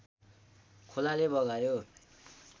खोलाले बगायो